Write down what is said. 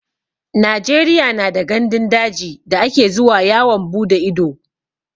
Najeriya na da gandun daji da ake zuwa yawon bude ido